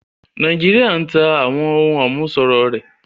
Nàìjíríà ń tá àwọn ohùn àmúṣọrọ̀ rẹ̀